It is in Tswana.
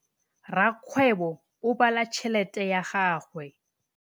Rakgwêbô o bala tšheletê ya gagwe.